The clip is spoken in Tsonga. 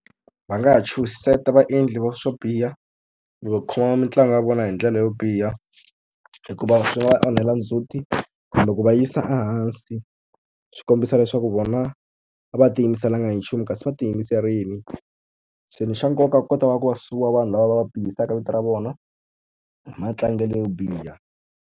Va nga ha chuhisela vaendli va swo biha va khoma mitlangu ya vona hi ndlela yo biha, hikuva swi nga va onhela ndzhuti kumbe va yisa ehansi. Swi ti kombisa leswaku vona va tiyimiselanga hi nchumu kasi va tiyimiserile. Se lexi xa nkoka ku kota ku va sue-wa vanhu lava va va bihisaka vito ra vona hi matlangelo yo biha.